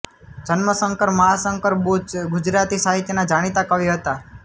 જન્મશંકર મહાશંકર બૂચ ગુજરાતી સાહિત્યના જાણીતા કવિ હતા